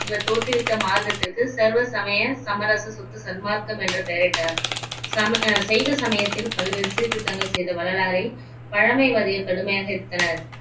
இவர் தோற்றுவித்த மார்க்கத்திற்கு சர்வ சமய சமரச சுத்த சன்மார்க்கம் என்று பெயரிட்டார் சம சைவ சமயத்தில் பல்வேறு சீர்திருத்தங்கள் செய்த வள்ளலாரை பழமைவாதியர் கடுமையாக எதிர்த்தனர்